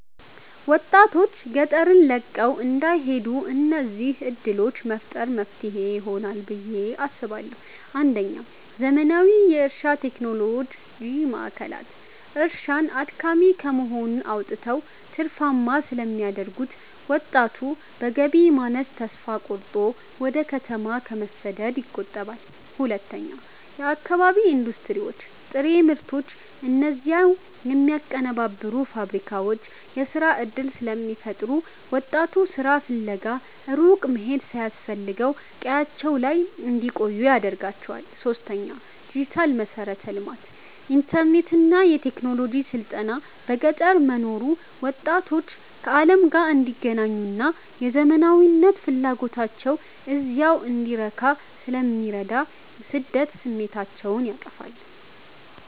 ወጣቶች ገጠርን ለቀው እንዳይሄዱ እነዚህን ዕድሎች መፍጠር መፍትሄ ይሆናል ብየ አስባለሁ ፩. ዘመናዊ የእርሻ ቴክኖሎጂ ማዕከላት፦ እርሻን አድካሚ ከመሆን አውጥተው ትርፋማ ስለሚያደርጉት፣ ወጣቱ በገቢ ማነስ ተስፋ ቆርጦ ወደ ከተማ ከመሰደድ ይቆጠባል። ፪. የአካባቢ ኢንዱስትሪዎች፦ ጥሬ ምርቶችን እዚያው የሚያቀነባብሩ ፋብሪካዎች የሥራ ዕድል ስለሚፈጥሩ፣ ወጣቱ ሥራ ፍለጋ ሩቅ መሄድ ሳያስፈልገው ቀያቸው ላይ እንዲቆዩ ያደርጋቸዋል። ፫. ዲጂታል መሠረተ ልማት፦ ኢንተርኔትና የቴክኖሎጂ ስልጠና በገጠር መኖሩ ወጣቶች ከዓለም ጋር እንዲገናኙና የዘመናዊነት ፍላጎታቸው እዚያው እንዲረካ ስለሚረዳ የስደት ስሜታቸውን ያጠፋዋል።